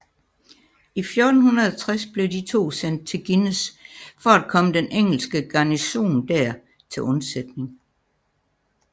I 1460 blev de to sendt til Guînes for at komme den engelske garnison der til undsætning